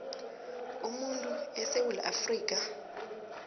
umuntu esewula afrika